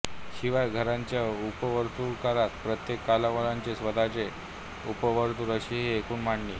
शिवाय घराण्याच्या उपवर्तुळात प्रत्येक कलांवंताचे स्वतःचे उपवर्तुळ अशी ही एकूण मांडणी